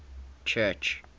church